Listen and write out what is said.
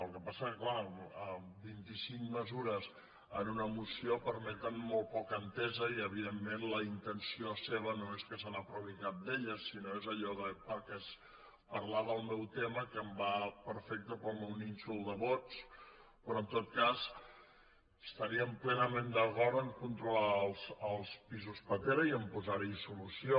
el que passa és que és clar vint·i·cinc mesures en una moció permeten molt poca entesa i evident·ment la intenció seva no és que s’aprovi cap d’elles sinó que és allò de parlar del meu tema que em va perfecte per al meu nínxol de vots però en tot cas estaríem plenament d’acord amb el fet de controlar els pisos pastera i amb posar·hi solució